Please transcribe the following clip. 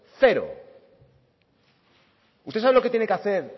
cero usted sabe lo que tiene que hacer